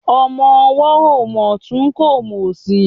Ọmọ ọwọ́ ò mòtún kò mòsì.